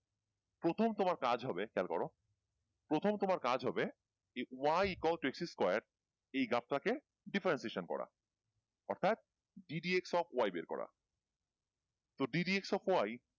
প্রথম তোমার কাজ হবে খেয়াল করো প্রথম তোমার কাজ হবে y is equal to X square এই গ্রাফ টাকে differentiation করা অর্থাৎ D D X O Y বের করা তো D D X O Y